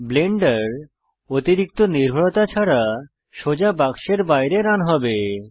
Blender অতিরিক্ত নির্ভরতা ছাড়া সোজা বাক্সের বাইরে রান হবে